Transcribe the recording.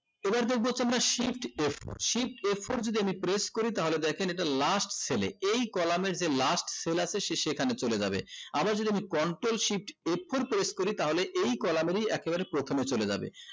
এবার দেখবো হচ্ছে আমরা shift f four shift f four যদি আমি press করি তাহলে দেখেন এটা last sale এ এই column এর যে last আছে সে সেখানে চলে যাবে আবার যদি আমি control shift f four press করি তাহলে এই column এরি একেবারে প্রথমে চলে যাবে